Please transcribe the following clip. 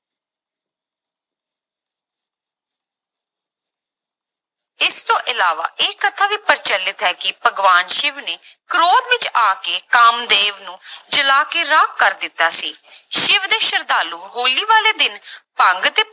ਇਸ ਤੋਂ ਇਲਾਵਾ ਇਹ ਕਥਾ ਵੀ ਪ੍ਰਚਲਿਤ ਹੈ ਕਿ ਭਗਵਾਨ ਸਿਵ ਨੇ ਕ੍ਰੋਧ ਵਿੱਚ ਆ ਕੇ ਕਾਮਦੇਵ ਨੂੰ ਜਲਾ ਕੇ ਰਾਖ ਕਰ ਦਿੱਤਾ ਸੀ ਸਿਵ ਦੇ ਸਰਧਾਲੂ ਹੋਲੀ ਵਾਲੇ ਦਿਨ ਭੰਗ ਦੇ